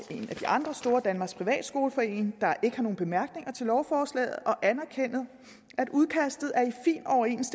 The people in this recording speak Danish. de andre store danmarks privatskoleforening der ikke har nogen bemærkninger til lovforslaget og anerkender at udkastet